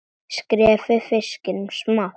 Skerið fiskinn smátt.